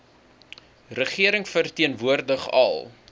regering verteenwoordig al